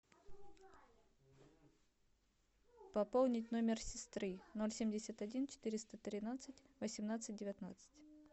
пополнить номер сестры ноль семьдесят один четыреста тринадцать восемнадцать девятнадцать